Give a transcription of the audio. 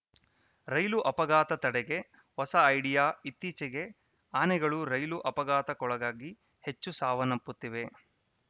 ರೈಲು ಅಪಘಾತ ತಡೆಗೆ ಹೊಸ ಐಡಿಯಾ ಇತ್ತೀಚೆಗೆ ಆನೆಗಳು ರೈಲು ಅಪಘಾತಕ್ಕೊಳಗಾಗಿ ಹೆಚ್ಚು ಸಾವನ್ನಪ್ಪುತ್ತಿವೆ